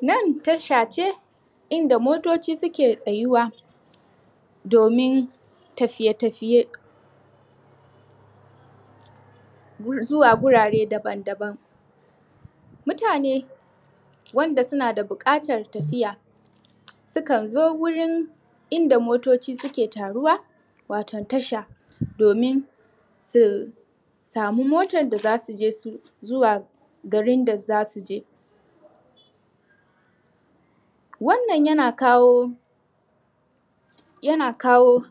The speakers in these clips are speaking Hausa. Nan tasha ce inda motoci suke tsayuwa domin tafiye-tafiye zuwa guraren daban-daban. Mutane wane suna da buƙatar tafiya sukan zo wurin inda motoci suke taruwa wato tasha domin su samu motar da za su je zuwa garin da za su je. Wannan yana kawo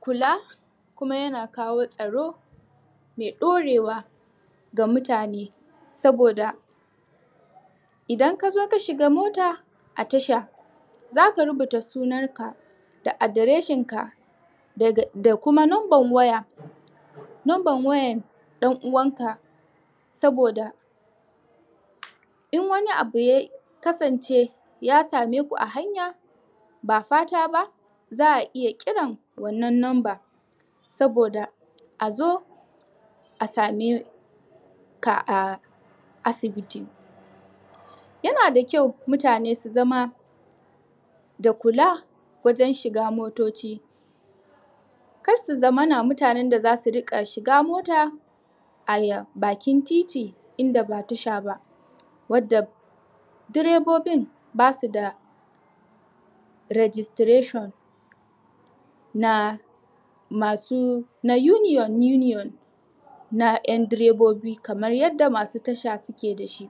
kula kuma yana kawo tsaro mai ɗaurewa ga mutane saboda idan ka zo ka shiga mota a tasha za rubuta sunanka da adireshinka da kuma number wayarka da number wayar ɗan uwanka, saboda in wani abu ya kasance ya same ku a hanya ba fata ba za a iya kiran wannan number saboda a zo a same ka a asibiti. Yana da ƙyau mutane bsu zama da kula wajen shiga motoci kar su zamana 2aje da za su riƙa shiga mota a bakin titi inda ba tasha ba wanda direbobin ba su da registration na masu na union union na 'yan direbobi kamar yadda masu tasha suke da shi.